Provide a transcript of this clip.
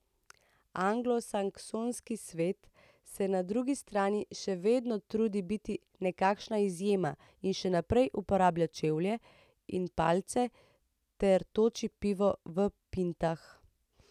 Anglosaksonski svet se na drugi strani še vedno trudi biti nekakšna izjema in še naprej uporablja čevlje in palce ter toči pivo v pintah.